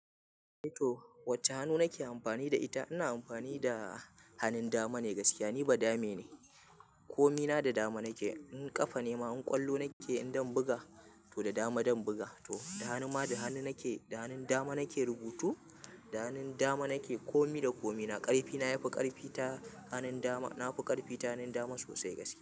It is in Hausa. To wacce hannu nake amfani da ita, ina amfani da hannun dama ne gaskiya. Ni ba dame ne, komina da dama nake. In kafa nema, in ƙwallo nake idan buga to da dama zan buga. To da hannu ma da hannu nake. Da hannun dama nake rubutu, da hannun dama nake komi da komina. Ƙarfi na yafi ƙarfi ta hannun dama. Na fi ƙarfi ta hannun dama sosai gaskiya.